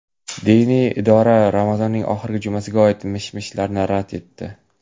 Diniy idora Ramazonning oxirgi jumasiga oid mish-mishlarni rad etdi.